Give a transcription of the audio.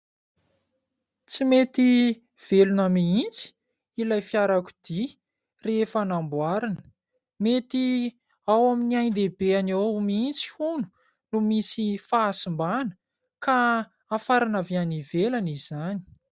Tsy mety velona mihitsy ilay fiarakodia rehefa namboarina. Mety ao amin'ny ain-dehibeny ao mihitsy hono no misy fahasimbana ka hafarana avy any ivelany izany.